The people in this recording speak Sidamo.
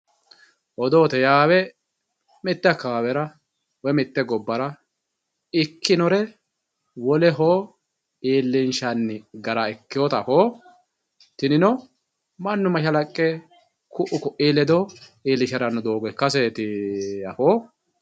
Odoote yaawe mite akawawera woyi mite gobbara ikkinore woleho iillinshanni gara ikkinotta afootto tinino mannu mashalaqqe ku"u koi ledo iillishirase doogoti afootto.